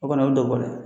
O kɔni o ye dɔ bɔ dɛ